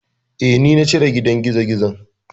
Eh, ni na cire gidan gizogizon.